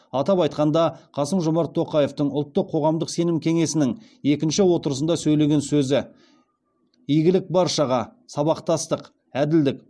атап айтқанда қасым жомарт тоқаевтың ұлттық қоғамдық сенім кеңесінің екінші отырысында сөйлеген сөзі игілік баршаға сабақтастық әділдік